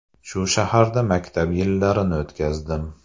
Shu shaharda maktab yillarini o‘tkazdim.